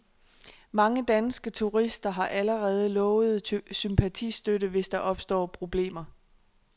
Mange danske turister har allerede lovet sympatistøtte, hvis der opstår problemer.